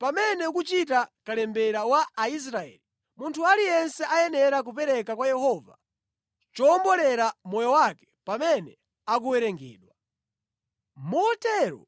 “Pamene ukuchita kalembera wa Aisraeli, munthu aliyense ayenera kupereka kwa Yehova chowombolera moyo wake pamene akuwerengedwa. Motero